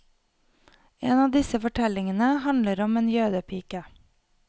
En av disse fortellingene handler om en jødepike.